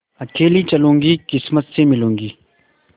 अकेली चलूँगी किस्मत से मिलूँगी